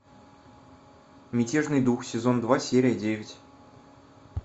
мятежный дух сезон два серия девять